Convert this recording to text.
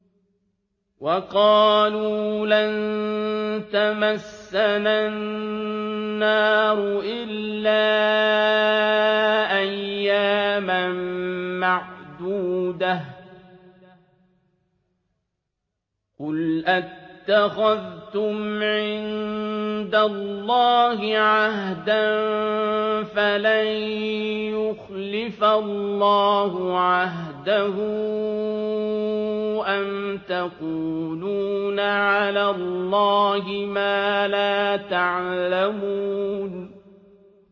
وَقَالُوا لَن تَمَسَّنَا النَّارُ إِلَّا أَيَّامًا مَّعْدُودَةً ۚ قُلْ أَتَّخَذْتُمْ عِندَ اللَّهِ عَهْدًا فَلَن يُخْلِفَ اللَّهُ عَهْدَهُ ۖ أَمْ تَقُولُونَ عَلَى اللَّهِ مَا لَا تَعْلَمُونَ